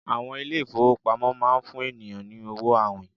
àwọn ilé ifowópamọ́ ma n fún ènìyàn ni owo awìn